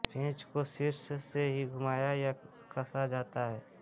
पेंच को शीर्ष से ही घुमाया या कसा जाता है